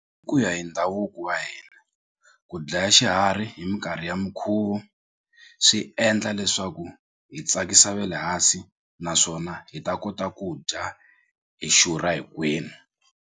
Ku ya hi ndhavuko wa hina ku dlaya xiharhi hi minkarhi ya mikhuvo swi endla leswaku hi tsakisa vele hansi naswona hi ta kota ku dya hi xurha hinkwenu.